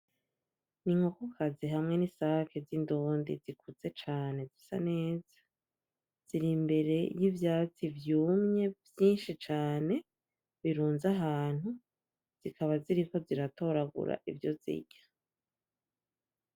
Ni inkokokazi hamye n'isake z'indundi zikuze cane zisa neza, ziri imbere y'ivyatsi vyumye vyinshi cane birunze ahantu zikaba ziriko ziratoragura ivyo zirya.